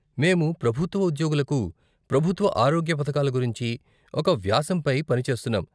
మేము ప్రభుత్వ ఉద్యోగులకు ప్రభుత్వ ఆరోగ్య పధకాల గురించి ఒక వ్యాసంపై పని చేస్తున్నాం.